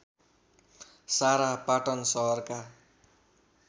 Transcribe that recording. सारा पाटन सहरका